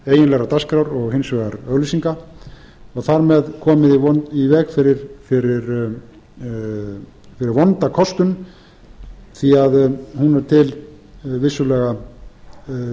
milli eiginlegrar dagskrár og hins vegar auglýsinga og þar með komið í veg fyrir vonda kostun því hún er til vissulega